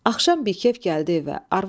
Axşam bikəf gəldi evə.